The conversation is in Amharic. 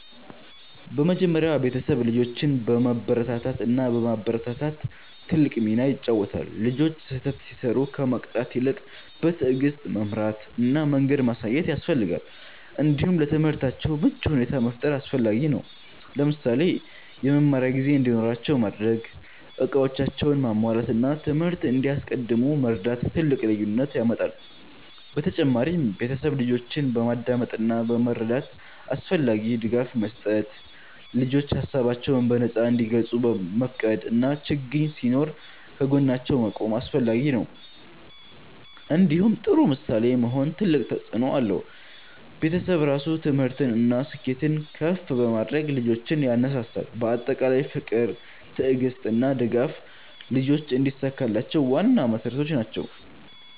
በመጀመሪያ ቤተሰብ ልጆችን በመበረታታት እና በማበረታታት ትልቅ ሚና ይጫወታል። ልጆች ስህተት ሲሰሩ ከመቅጣት ይልቅ በትዕግስት መምራት እና መንገድ ማሳየት ያስፈልጋል። እንዲሁም ለትምህርታቸው ምቹ ሁኔታ መፍጠር አስፈላጊ ነው። ለምሳሌ የመማሪያ ጊዜ እንዲኖራቸው ማድረግ፣ እቃዎቻቸውን ማሟላት እና ትምህርት እንዲያስቀድሙ መርዳት ትልቅ ልዩነት ያመጣል። በተጨማሪም ቤተሰብ ልጆችን በማዳመጥ እና በመረዳት አስፈላጊ ድጋፍ መስጠት። ልጆች ሀሳባቸውን በነፃ እንዲገልጹ መፍቀድ እና ችግኝ ሲኖር ከጎናቸው መቆም አስፈላጊ ነው። እንዲሁም ጥሩ ምሳሌ መሆን ትልቅ ተፅእኖ አለው። ቤተሰብ ራሱ ትምህርትን እና ስኬትን ከፍ በማድረግ ልጆችን ያነሳሳል። በአጠቃላይ ፍቅር፣ ትዕግስት እና ድጋፍ ልጆች እንዲሳካላቸው ዋና መሠረቶች ናቸው።